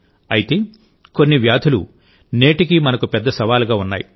అయితే కొన్ని వ్యాధులు నేటికీ మనకు పెద్ద సవాలుగా ఉన్నాయి